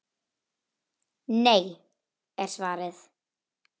Nei er svarið.